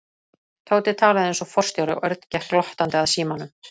Tóti talaði eins og forstjóri og Örn gekk glottandi að símanum.